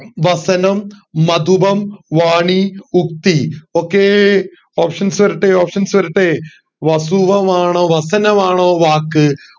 വാസനം മധുപം വാണി ഉക്തി okay options വരട്ടെ options വരട്ടെ വസുവാവാണോ വാസനമാണോ വാക്ക്